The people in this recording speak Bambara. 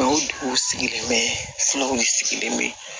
dugu sigilen bɛ fulaw de sigilen bɛ